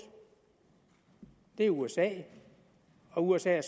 det er usa og usa